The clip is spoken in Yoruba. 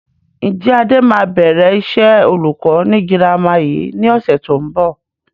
Ǹjẹ́ Adé máa bẹ̀rẹ̀ iṣẹ́ olùkọ́ ni girama yìí ni ọ̀sẹ̀ tó ń bọ̀?